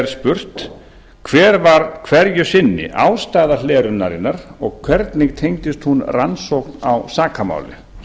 annar hver var hverju sinni ástæða hlerunarinnar og hvernig tengdist hún rannsókn á sakamáli